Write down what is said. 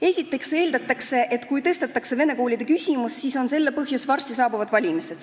Esiteks eeldatakse, et kui tõstatatakse vene koolide küsimus, siis on selle põhjus varsti saabuvad valimised.